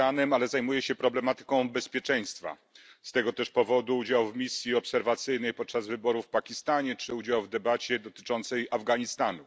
Nie zajmuję się Iranem, ale zajmuje się problematyką bezpieczeństwa z tego też powodu udział w misji obserwacyjnej podczas wyborów w Pakistanie czy udział w debacie dotyczącej Afganistanu.